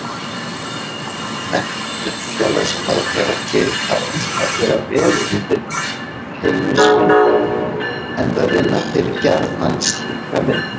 Menntun félagsráðgjafa gerir þá einstaklega vel undirbúna fyrir teymisvinnu enda vinna þeir gjarnan slíka vinnu.